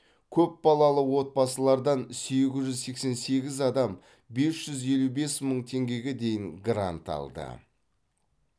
көпбалалы отбасылардан сегіз жүз сексен сегіз адам бес жүз елу бес мың теңгеге дейін грант алды